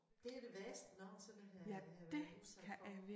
Det det værste jeg nogensinde har været har været udsat for